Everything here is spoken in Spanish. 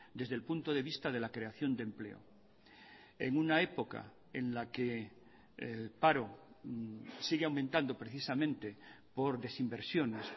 desde el punto de vista de la creación de empleo en una época en la que el paro sigue aumentando precisamente por desinversiones